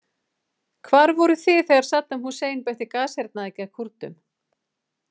Hvar voruð þið þegar Saddam Hussein beitti gashernaði gegn Kúrdum?